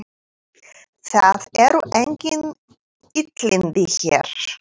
Það eru engin illindi hér.